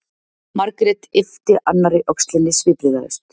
Margrét yppti annarri öxlinni svipbrigðalaus.